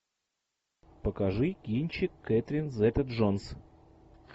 покажи кинчик кетрин зета джонс